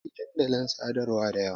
Akwai dandalin sadarwa da yawa.